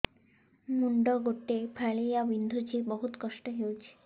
ମୁଣ୍ଡ ଗୋଟେ ଫାଳିଆ ବିନ୍ଧୁଚି ବହୁତ କଷ୍ଟ ହଉଚି